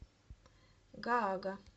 гаага